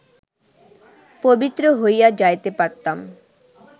পবিত্র হইয়া যাইতে পারতাম